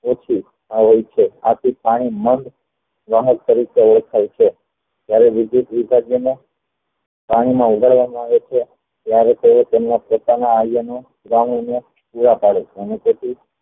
ઓછું હોય છે આથી પાણી માન્દ્ય તરીકે ઓળખાય છે જયારે પાણી માં ઉગાડવામાં આવે છે ત્યારે તે તેમાં પોતાના iron નો પુરા પડે છે અને તેથી